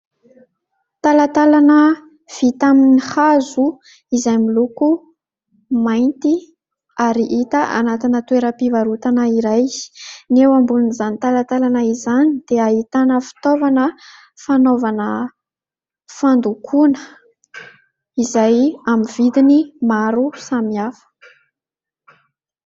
Talatalana vita amin'ny hazo izay miloko mainty ary hita anatina toeram-pivarotana iray. Ny eo ambonin'izany talatalana izany dia ahitana fitaovana fanaovana fandokoana izay amin'ny vidiny maro samihafa.